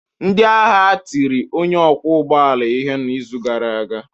Ndị agha a tiri onye ọkwọ ụgbọ ala ihe n'izu gara aga.